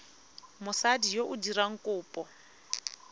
mosadi yo o dirang kopo